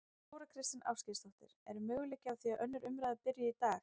Þóra Kristín Ásgeirsdóttir: Er möguleiki á því að önnur umræða byrji í dag?